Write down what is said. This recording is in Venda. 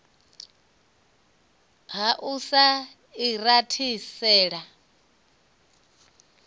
ha u sa i rathisela